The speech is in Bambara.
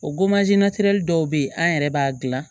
O dɔw bɛ yen an yɛrɛ b'a dilan